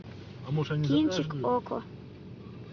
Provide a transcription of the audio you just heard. кинчик окко